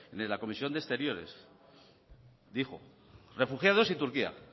de la comisión de exteriores dijo refugiados y turquía